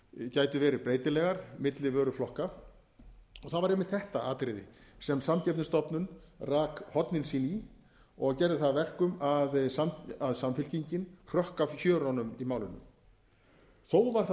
gætu verið breytilegar milli vöruflokka og það var einmitt þetta atriði sem samkeppnisstofnun rak hornin sín í og gerði það að verkum að samfylkingin hrökk af hjörunum í málinu þó var það